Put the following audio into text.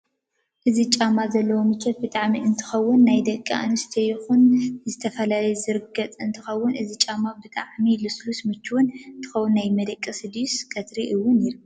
እዚ ጫማ ኮይኑ ዘለዎ ምቸት ብጣዓሚ እንትከውን ናይ ደቂ ኣንዝተዮ ይኩን ንዝተፈላለየ ዝርገፅ እንትከውን እዚ ጫማ ብጣዓሚ ልሱሉስ ሙችው እንትከውን ናይ መደቀሲ ድዩስ ቀትሪ እውን ይርገፅ?